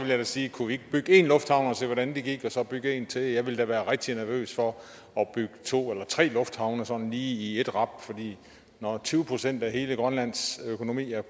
da sige kunne vi ikke bygge en lufthavn se hvordan det gik og så bygge en til jeg ville da være rigtig nervøs for at bygge to eller tre lufthavne sådan lige i rap for når tyve procent af hele grønlands økonomi er